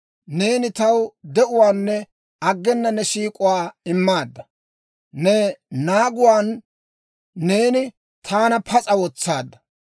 Neeni taw de'uwaanne aggena ne siik'uwaa immaadda; ne naaguwaan neeni taana pas'a wotsaadda.